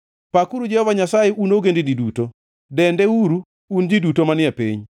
Pakuru Jehova Nyasaye, un ogendini duto; dendeuru, un ji duto manie piny.